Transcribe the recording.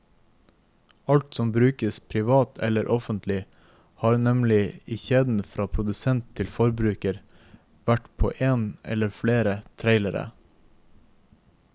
Alt som brukes privat eller offentlig, har nemlig i kjeden fra produsent til forbruker vært på én eller flere trailere.